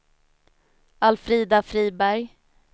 Alfrida Friberg